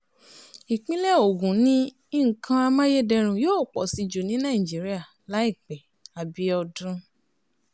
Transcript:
ìpínlẹ̀ ogun ni nǹkan amáyédẹrùn yóò pọ̀ sí jù ní nàìjíríà láìpẹ́ abiodun